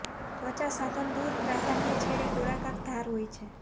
ત્વચા સાધન દૂર પ્રાધાન્ય છેડે ગોળાકાર ધાર હોય છે